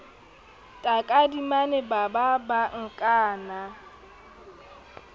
takadimane ba ba ba nkana